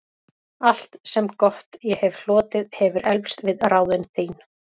Allt, sem gott ég hefi hlotið, hefir eflst við ráðin þín.